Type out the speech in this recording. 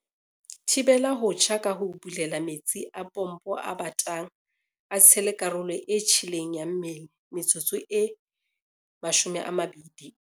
"Thibela ho tjha ka ho bulela metsi a pompo a batang a tshele karolo e tjheleng ya mmele metsotso e 20."